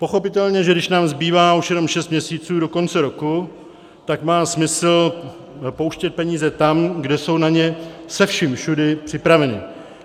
Pochopitelně, že když nám zbývá už jenom šest měsíců do konce roku, tak má smysl pouštět peníze tam, kde jsou na ně se vším všudy připraveni.